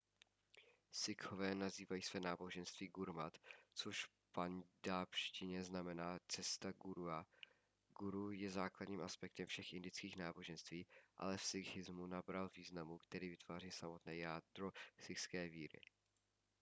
sikhové nazývají své náboženství gurmat což v paňdábžštině znamená cesta gurua guru je základním aspektem všech indických náboženství ale v sikhismu nabral významu který vytváří samotné jádro sikhské víry